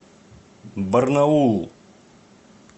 барнаулу